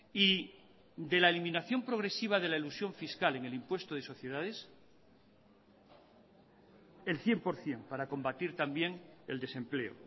y de la eliminación progresiva de la elusión fiscal en el impuesto de sociedades el cien por ciento para combatir también el desempleo